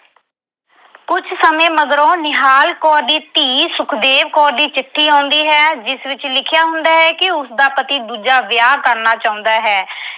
ਕੁਝ ਸਮੇਂ ਮਗਰੋਂ ਨਿਹਾਲ ਕੌਰ ਦੀ ਧੀ ਸੁਖਦੇਵ ਕੌਰ ਦੀ ਚਿੱਠੀ ਆਉਂਦੀ ਹੈ ਜਿਸ ਵਿੱਚ ਲਿਖਿਆ ਹੁੰਦਾ ਕਿ ਉਸਦਾ ਪਤੀ ਦੂਜਾ ਵਿਆਹ ਕਰਨਾ ਚਾਹੁੰਦਾ ਹੈ।